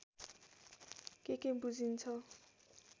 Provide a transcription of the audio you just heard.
के के बुझिन्छ